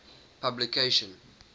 publication